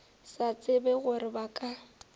sa tsebe gore ba ka